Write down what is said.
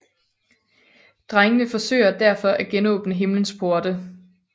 Drengene forsøger derfor at genåbne himlens porte